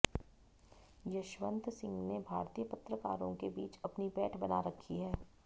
यशवंत सिंह ने भारतीय पत्रकारों के बीच अपनी पैठ बना रखी है